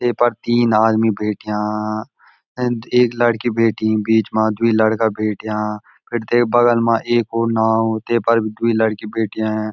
ये पर तीन आदमी बैठ्याँ अंद एक लड़की बैठ्यीं बीच मा द्वि लड़का बैठ्याँ फिर तेक बगल मा एक और नाव ते पर भी द्वि लड़की बैठ्याँ।